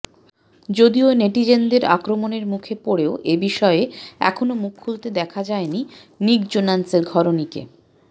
যদিও নেটিজেনদের আক্রমণের মুখে পড়েও এ বিষয়ে এখনও মুখ খুলতে দেখা যায়নি নিক জোনাসের ঘরণীকে